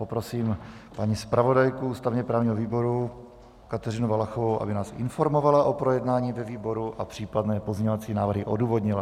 Poprosím paní zpravodajku ústavně-právního výboru Kateřinu Valachovou, aby nás informovala o projednání ve výboru a případné pozměňovací návrhy odůvodnila.